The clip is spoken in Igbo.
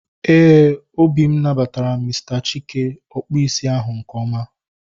Éè, obi m nabatara Mr Chike, ọkpụ isi ahu nke ọma